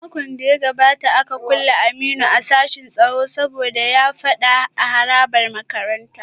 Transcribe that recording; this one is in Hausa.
A makon da ya gabata ne aka kulle Aminu a sashin tsaro saboda ya yi fada a harabar makarantar